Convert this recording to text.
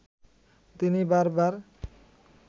তিনি বারবার